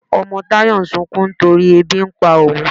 Ọmọ Tayọ̀ ń ṣunkún nítorí èbí n pà ọún.